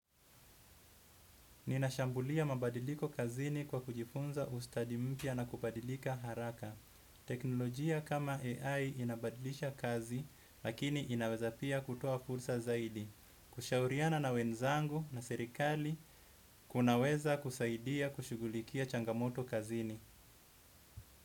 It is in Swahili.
Ninashambulia mabadiliko kazini kwa kujifunza ustadi mpya na kubadilika haraka. Teknolojia kama AI inabadilisha kazi, lakini inaweza pia kutoa fursa zaidi. Kushauriana na wenzangu na serikali, kunaweza kusaidia kushughulikia changamoto kazini.